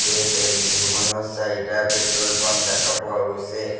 তে তেলডিপোখনৰ চাৰিটা পেট্ৰল পাম্প দেখা পোৱা গৈছে।